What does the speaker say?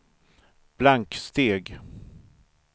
blanksteg